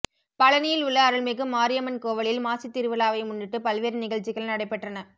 பழனியில் உள்ள அருள்மிகு மாரியம்மன் கோவிலில் மாசித் திருவிழாவை முன்னிட்டு பல்வேறு நிகழ்ச்சிகள் நடைபெற்றன